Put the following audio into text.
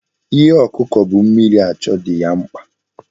Ihe ọkụkọ bu mmiri achọ dị ya mkpa.